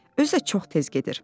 Özü də çox tez gedir.